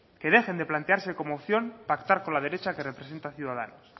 que dejen de plantearse como opción pactar con la derecha que representa ciudadanos